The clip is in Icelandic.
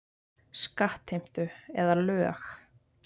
Skattheimtu eða lög.